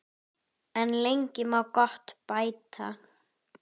En lengi má gott bæta.